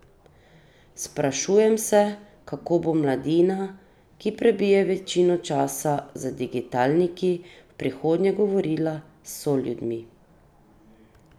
Sprašujem sem, kako bo mladina, ki prebije večino časa za digitalniki, v prihodnje govorila s soljudmi?